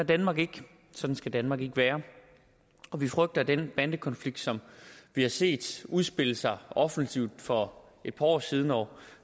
danmark ikke sådan skal danmark ikke være og vi frygter at den bandekonflikt som vi har set udspille sig offensivt for et par år siden og